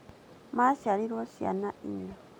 Maciarwo ciana inya